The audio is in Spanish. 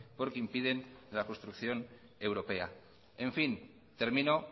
porque impiden la construcción europea en fin termino